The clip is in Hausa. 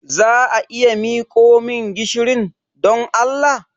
Za a iya miko min gishirin, don Allah?